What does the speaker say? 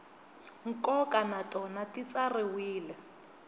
nkoka na tona ti tsariwile